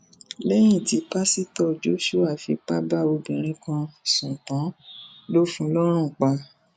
lẹyìn tí pásítọ joshua fipá bá obìnrin kan sùn tán ló fún un lọrùn pa